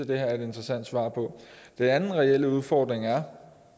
det her er et interessant svar på den anden reelle udfordring er